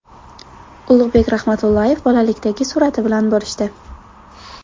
Ulug‘bek Rahmatullayev bolalikdagi surati bilan bo‘lishdi.